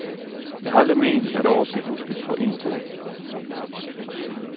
Jeg har aldrig ment, at året skal huskes for en ting.